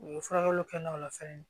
U ye furakɛli kɛ n'o la fɛnɛ